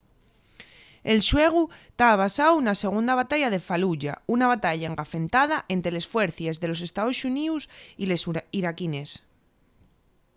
el xuegu ta basáu na segunda batalla de faluya una batalla engafentada ente les fuercies de los estaos xuníos y les iraquines